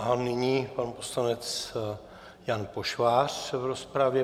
A nyní pan poslanec Jan Pošvář v rozpravě.